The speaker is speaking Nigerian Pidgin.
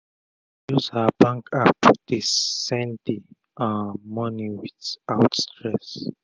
she use her bank app dey send d um moni wit out stress